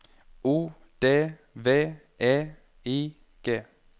O D V E I G